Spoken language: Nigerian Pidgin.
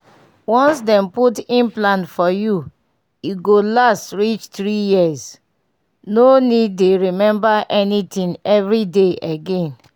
once dem put implant for you e go last reach 3yrs— no need dey remember anything every day again.